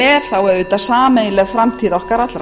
er auðvitað sameiginleg framtíð okkar allra